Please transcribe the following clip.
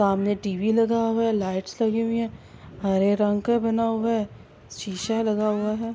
سامنے ٹی.وی نظر آ رہا ہے۔ لائٹس لگی ہوئی ہے۔ ہرے رنگ کا بنا ہوا ہے. شیشہ لگا ہوا ہے۔